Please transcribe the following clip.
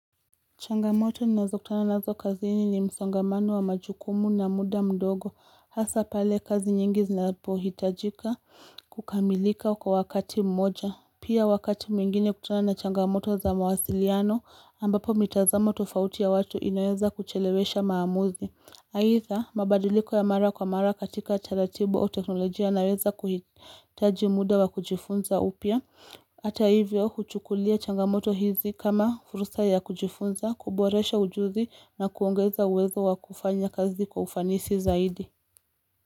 Changamoto ninazo kutana nazo kaziini ni msongamano wa majukumu na muda mdogo hasa pale kazi nyingi zinapohitajika kukamilika kwa wakati mmoja Pia wakati mwingine kukutana na changamoto za mawasiliano ambapo mitazamo tofauti ya watu inaweza kuchelewesha maamuzi aitha mabadiliko ya mara kwa mara katika taratibu au teknolojia naweza kuhitaji muda wa kujifunza upya ata hivyo huchukulia changamoto hizi kama fursa ya kujifunza kuboresha ujuzi na kuongeza uwezo wa kufanya kazi kwa ufanisi zaidi.